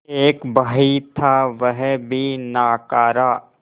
एक भाई था वह भी नाकारा